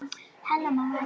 Amma stundi þungan.